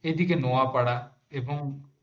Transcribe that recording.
এদিকে নোয়াপাড়া এবং